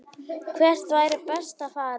Hvert væri best að fara?